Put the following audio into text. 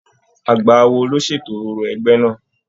Àgbà awo ló ṣètò òrò ẹgbẹ náà.